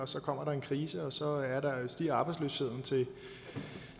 så kommer der en krise og så stiger arbejdsløsheden